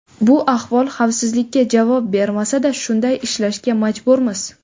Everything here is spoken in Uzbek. Bu ahvol xavfsizlikka javob bermasa-da, shunday ishlashga majburmiz.